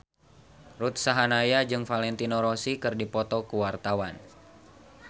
Ruth Sahanaya jeung Valentino Rossi keur dipoto ku wartawan